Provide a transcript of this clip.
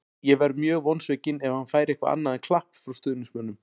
Ég verð mjög vonsvikinn ef hann fær eitthvað annað en klapp frá stuðningsmönnum.